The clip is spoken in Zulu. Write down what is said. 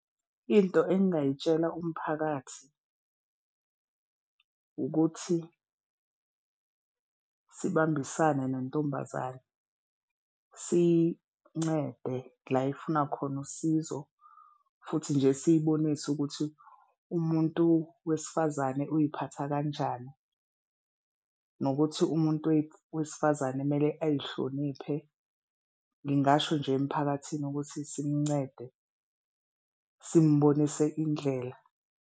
Into engingayitsela umphakathi ukuthi sibambisane nontombazane, sincede la efuna khona usizo futhi nje siyibonise ukuthi umuntu wesifazane uziphatha kanjani nokuthi umuntu wesifazane kumele azihloniphe. Ngingasho nje emphakathini ukuthi simuncede, simubonise indlela.